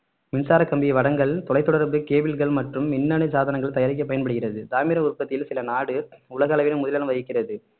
மின்சார கம்பி வடங்கள் தொலைத்தொடர்பு கேபிள்கள் மற்றும் மின்னணு சாதனங்கள் தயாரிக்க பயன்படுகிறது தாமிர உற்பத்தியில் சில நாடு உலக அளவில் முதலிடம் வகிக்கிறது